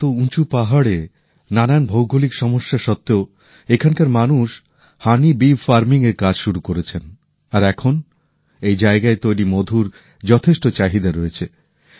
এত উঁচু পাহাড়ে নানান ভৌগলিক সমস্যা সত্বেও এখানকার মানুষ মৌচাষের কাজ শুরু করেছেন আর এখন এই জায়গায় তৈরি মধুর যথেষ্ট চাহিদা রয়েছে